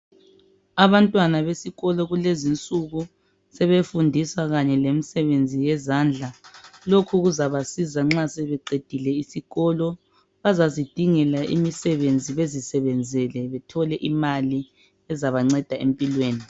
Abantwana besikolo kulezi insuku sebefundiswa kanye lemisebenzi yezandla lokhu kuzabasiza nxa sebeqedile isikolo bazazidingela imisebenzi bezisebenzele bethole imali ezabanceda empilweni.